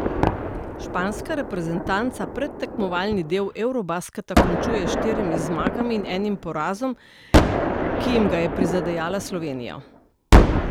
Španska reprezentanca predtekmovalni del eurobasketa končuje s štirimi zmagami in enim porazom, ki jim ga je prizadejala Slovenija.